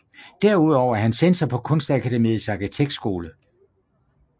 Derudover er han censor på Kunstakademiets Arkitektskole